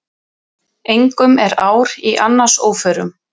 Engum er ár í annars óförum.